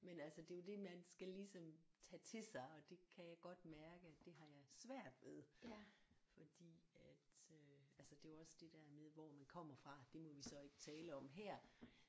Men altså det er jo det man skal ligesom tage til sig og det kan jeg godt mærke at det har jeg svært ved fordi at øh altså det er jo også det der med hvor man kommer fra det må vi så ikke tale om her